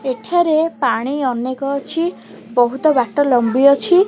ଏଠାରେ ପାଣି ଅନେକ ଅଛି ବହୁତ ବାଟ ଲମ୍ବି ଅଛି।